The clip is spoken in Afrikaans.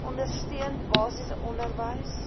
ondersteuning basiese onderwys